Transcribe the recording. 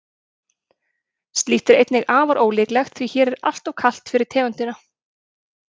slíkt er einnig afar ólíklegt því hér er alltof kalt fyrir tegundina